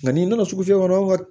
Nka n'i nana sugu fɛ kɔnɔ